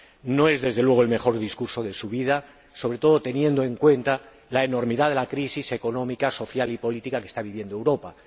No es, desde luego, el mejor discurso de su vida, sobre todo teniendo en cuenta la enormidad de la crisis económica, social y política que está viviendo Europa.